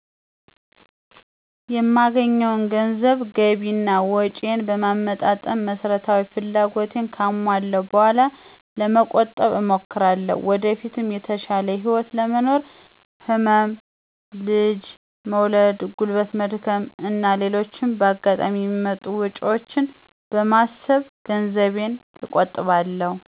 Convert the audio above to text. የማገኘውን ገንዘብ ገቢ እና ወጭየን በማመጣጠን መሰረታዊ ፍላጎቶቸን ካሟለው በኋላ ለመቆጠብ እሞክራለሁ። ወደፊት የተሻለ ህይወት ለመኖር፣ ህመም፣ ልጅ መውለድ፣ ጉልበት መድከም እና ሌሎችም በአጋጣሚ የሚመጡ ወጭወችን በማሰብ ገንዘቤን እቆጥባለሁ።